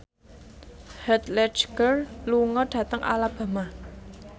Heath Ledger lunga dhateng Alabama